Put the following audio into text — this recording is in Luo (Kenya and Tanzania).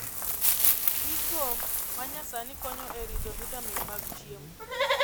Gigo manyasani konyo e rito vitamin mag chiemo